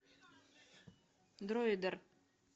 дроидер